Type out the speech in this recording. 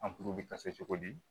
An kuru bɛ cogo di